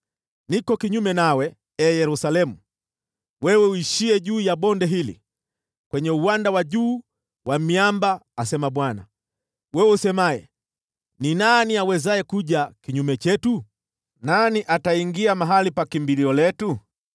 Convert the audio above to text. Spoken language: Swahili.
Niko kinyume nawe, ee Yerusalemu, wewe uishiye juu ya bonde hili kwenye uwanda wa juu wa miamba, asema Bwana , wewe usemaye, “Ni nani awezaye kuja kinyume chetu? Nani ataingia mahali pa kimbilio letu?”